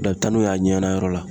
Dɔn a be taa n'o ye a ɲɛnayɔrɔ la